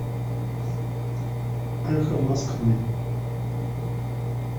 эхо москвы